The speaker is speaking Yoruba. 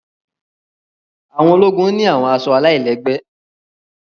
àwọn ologun ni àwọn aṣọ àlailẹgbẹ